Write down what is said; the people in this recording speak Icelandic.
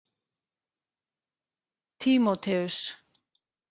Tímóteus